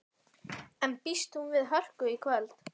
En býst hún við hörku í kvöld?